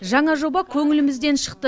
жаңа жоба көңілімізден шықты